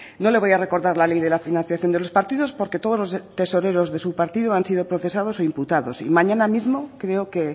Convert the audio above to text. no le voy a recordar la ley de la financiación de los partidos porque todos los tesoreros de su partido han sido procesados o imputados y mañana mismo creo que